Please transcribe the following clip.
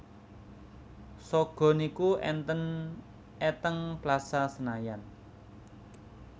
Sogo niku enten e teng Plaza Senayan